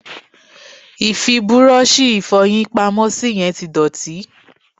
Ì fi búrọ́ọ̀ṣì Ìfọ̀yín pamọ́ sí yẹn tí dọ̀tí